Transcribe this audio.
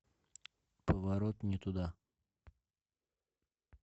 поворот не туда